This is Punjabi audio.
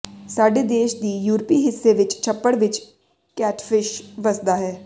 ਸਾਡੇ ਦੇਸ਼ ਦੀ ਯੂਰਪੀ ਹਿੱਸੇ ਵਿਚ ਛੱਪੜ ਵਿਚ ਕੈਟਫਿਸ਼ ਵਸਦਾ ਹੈ